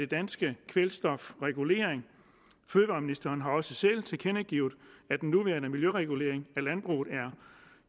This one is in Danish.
danske kvælstofregulering fødevareministeren har også selv tilkendegivet at den nuværende miljøregulering af landbruget